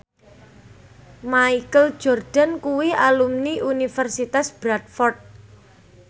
Michael Jordan kuwi alumni Universitas Bradford